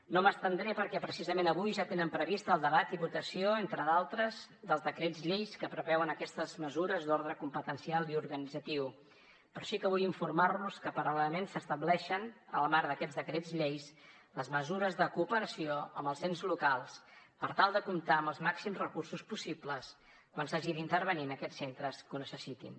no m’estendré perquè precisament avui ja tenen previst el debat i votació entre d’altres dels decrets lleis que preveuen aquestes mesures d’ordre competencial i organitzatiu però sí que vull informar los que paral·lelament s’estableixen en el marc d’aquests decrets lleis les mesures de cooperació amb els ens locals per tal de comptar amb els màxims recursos possibles quan s’hagi d’intervenir en aquests centres que ho necessitin